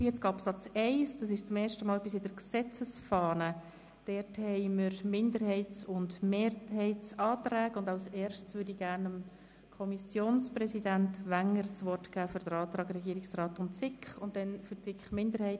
, entscheidet bei Zuständigkeitskonflikten zwischen der Kantonspolizei und den Gemeinden in den Bereichen öffentliche Sicherheit, Verkehr und Vollzugshilfe zugunsten der Gemeinden die Regierungsstatthalterin oder der Regierungsstatthalter die Polizei-und Militärdirektion.